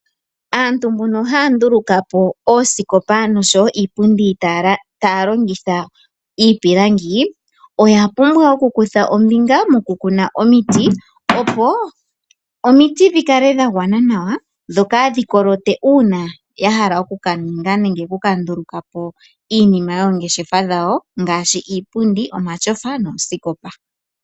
Aantu mbono haya nduluka po oosikopa noshowo iipundi taya longitha iipilangi, oya pumbwa okukutha ombinga mokukuna omiti, opo omiti fhi kale dha gwana nawa. Dho kadhi kolote uuna ya hala oku ka ninga nenge oku ka nduluka po iinima yoongeshefa dhawo ngaashi iipundi, omatyofa noosikopa.